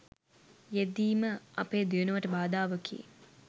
යෙදීම අපේ දියුණුවට බාධාවකි.